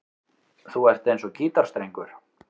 Þú ert eins og gítarstrengur.